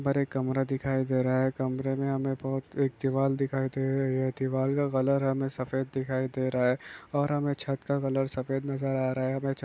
ऊपर एक कमरा दिखाई दे रहा है। कमरेमे हमे बहुत एक दीवाल दिखाई दे रही है। दीवार का कलर हमे सफेद दिखाई दे रहा है और हमे छत का कलर सफेद नजर आ रहा है। हमे छत--